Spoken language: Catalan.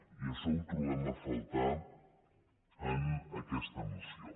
i això ho trobem a faltar en aquesta moció